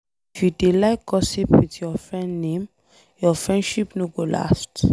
If you dey like gossip with your friend name, your friendship no go last.